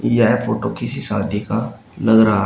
यह फोटो किसी शादी का लग रहा है।